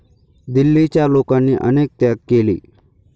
दिल्लीच्या लोकांनी अनेक त्याग केले.